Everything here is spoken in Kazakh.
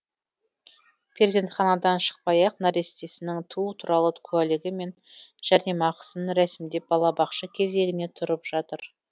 перзентханадан шықпай ақ нәрестесінің туу туралы куәлігі мен жәрдемақысын рәсімдеп балабақша кезегіне тұрып жатыр